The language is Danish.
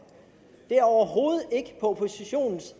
det er overhovedet ikke på oppositionens